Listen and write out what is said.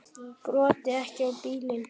Broddi: Ekki á bílana?